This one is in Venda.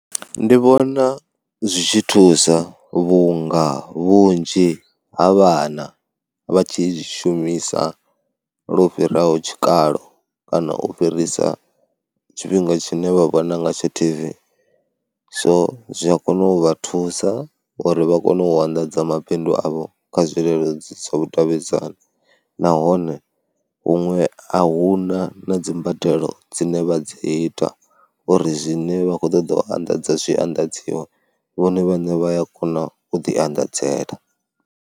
Ndi vhona zwi tshi thusa vhunga vhunzhi ha vhana vha tshi zwi shumisa lwo fhiraho tshikalo kana u fhirisa tshifhinga tshine vha vhona ngatsho T_V, so zwi a kona u vha thusa uri vha kone u anḓadza mabindu avho kha zwileludzi zwa vhudavhidzani nahone huṅwe a hu na na dzimbadelo dzine vha dzi ita uri zwine vha khou ṱoḓa u anḓadza zwi anḓadziwe vhone vhaṋe vha ya kona u ḓianḓadzela.